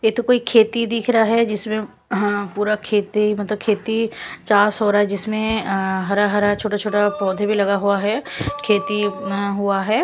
यह तो कोई खेती दिख रहा है जिसमें पूरा खेती मतलब खेती चार्स हो रहा है जिसमें हरा-हरा छोटे-छोटे पौधे भी लगा हुआ है खेती हुआ है।